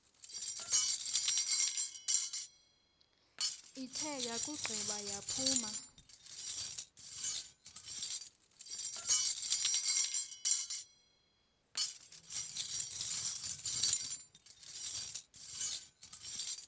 ithe yakugqiba yaphuma